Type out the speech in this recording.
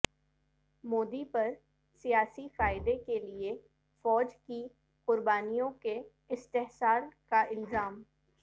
مودی پر سیاسی فائدہ کیلئے فوج کی قربانیوں کے استحصال کا الزام